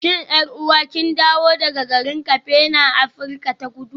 Shin 'yar'uwa kin dawo daga garin Cape na Afirka ta Kudu?